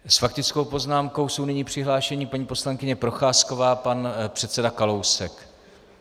S faktickou poznámkou jsou nyní přihlášeni paní poslankyně Procházková a pan předseda Kalousek.